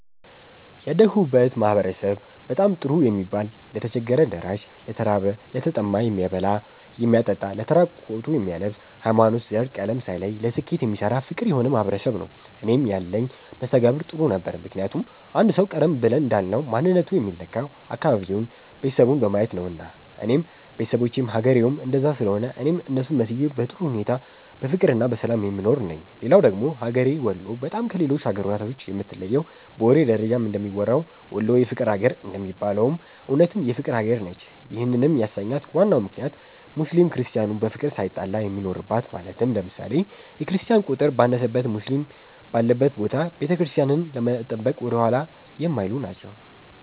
ያደግሁበት ማህበረሰብ በጣም ጥሩ የሚባል ለተቸገረ ደራሽ፣ ለተራበ፣ ለተጠማ የሚያበላ የሚያጠጣ ለተራቆቱ የሚያለብስ፣ ሀይማኖት፣ ዘር፣ ቀለም ሳይለይ ለስኬት የሚሰራ ፍቅር የሆነ ማህበረሰብ ነዉ። እኔም ያለኝ መስተጋብር ጥሩ ነበረ ምክንያቱም አንድ ሰዉ ቀደም ብለን እንዳልነዉ ማንነቱ የሚለካዉ አካባቢዉን፣ ቤተሰቡን በማየት ነዉና እኔም ቤተሰቦቼም ሀገሬዉም እንደዛ ስለሆነ እኔም እነሱን መስዬ በጥሩ ሁኔታ በፍቅርና በሰላም የምኖር ነኝ። ሌላዉ ደግሞ ሀገሬ ወሎ በጣም ከሌሎች ሀገራቶችም የምትለየዉ በወሬ ደረጃም እንደሚወራዉ "ወሎ የፍቅር ሀገር" እንደሚባለዉም እዉነትም የፍቅር ሀገር ነች ይህንም ያሰኛት ዋናው ምክንያት ሙስሊም ክርስቲያኑ በፍቅር ሳይጣላ የሚኖርበት ማለትም ለምሳሌ፦ የክርስቲያን ቁጥር ባነሰበት ሙስሊም ባለበት ቦታ ቤተክርስቲያንን ለመጠበቅ ወደኋላ የማይሉ ናቸዉ።